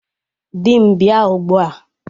Dị m bịa ugbua!